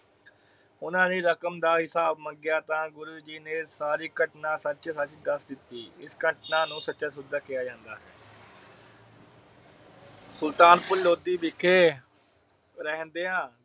ਓਹਨਾ ਨੇ ਰਕਮ ਦਾ ਹਿਸਾਬ ਮੰਗਿਆ ਤਾ ਗੁਰੂ ਜੀ ਨੇ ਸਾਰੀ ਘਟਨਾ ਸੱਚੋ-ਸੱਚ ਦੱਸ ਦਿੱਤੀ। ਇਸ ਘਟਨਾ ਨੂੰ ਸੱਚਾ ਸੌਦਾ ਕਿਹਾ ਜਾਂਦਾ ਹੈ। ਸੁਲਤਾਨਪੁਰ ਲੋਧੀ ਵਿਖੇ ਰਹਿੰਦੇ ਹਾਂ।